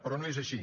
però no és així